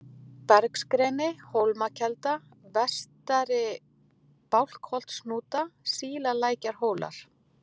Bergsgreni, Hólmakelda, Vestari-Bálkholtshnúta, Sílalækjarhólar